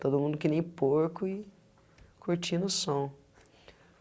Todo mundo que nem porco e curtindo o som.